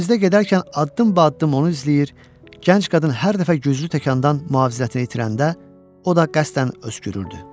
Dəhlizdə gedərkən addım-ba-addım onu izləyir, gənc qadın hər dəfə güclü təkandan müvazinətini itirəndə, o da qəsdən öskürürdü.